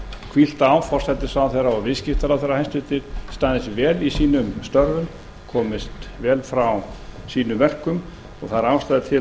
hvílt á forsætisráðherra og viðskiptaráðherra hæstvirtur staðið sig vel í sínum störfum komist vel frá sínum verkum og það er ástæða til